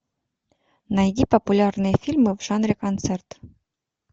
найди популярные фильмы в жанре концерт